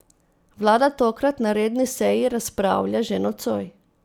Vlada tokrat na redni seji razpravlja že nocoj.